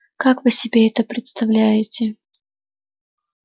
как вы себе это представляете